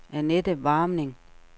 Anette Warming